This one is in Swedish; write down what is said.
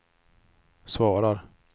svarar